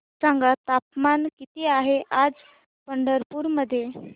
सांगा तापमान किती आहे आज पंढरपूर मध्ये